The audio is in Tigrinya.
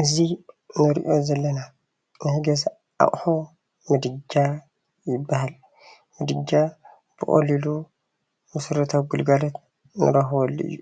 እዚ እንሪኦ ዘለና ናይ ገዛ ኣቁሑ ምድጃ ይባሃል፡፡ ምድጃ ብቀሊሉ መሰረታዊ ግልጋሎት እንረክበሉ እዩ፡፡